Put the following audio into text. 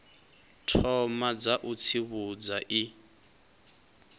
thoma dza u tsivhudza i